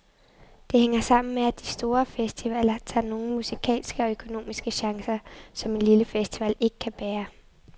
Det hænger sammen med, at de store festivaler tager nogle musikalske og økonomiske chancer, som en lille festival ikke kan bære.